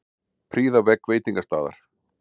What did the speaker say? Prýða vegg veitingastaðar